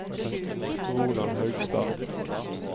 Ronald Haugstad